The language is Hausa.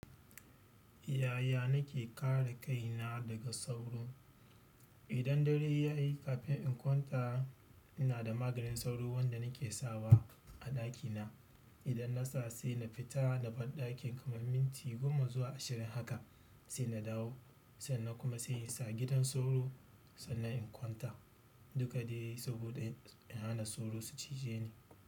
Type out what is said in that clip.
Yaya nake kare kaina daga sauro? Idan dare ya yi kafin in kwanta ina da maganin sauro wanda nake sawa a ɗakina. Idan na sa sai na fita naban ɗakin kamar minti goma zuwa ashirin haka sai na dawo sannan kuma sai in sa gidan sauro sannan in kwanta. Duka dai saboda in hana sauro su cijeni.